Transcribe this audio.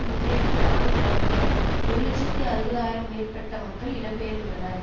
முன்னெடுத்த இராணுவ நடவடிக்கையால் ஒரு இலட்சத்தி அறுபது ஆயிரம் மேற்பட்ட மக்கள் இடம்பெயர்ந்துள்ளனர்